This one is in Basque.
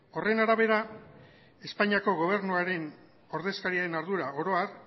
horren arabera espainiako gobernuaren ordezkariaren ardura oro har